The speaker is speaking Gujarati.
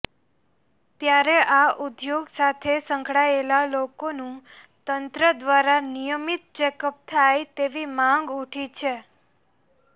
ત્યારે આ ઉદ્યોગ સાથે સંકડાયેલા લોકોનું તંત્ર દ્વારા નિયમિત ચેકઅપ થાય તેવી માંગ ઉઠી છે